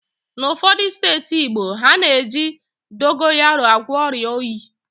N'ụfọdụ steeti Igbo, ha na-eji dogayaro agwọ ọrịa oyi